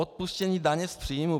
Odpuštění daně z příjmu.